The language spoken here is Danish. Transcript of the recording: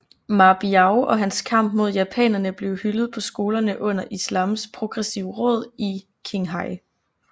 Ma Biao og hans kamp mod japanerne blev hyldet på skolerne under Islams Progressive Råd i Qinghai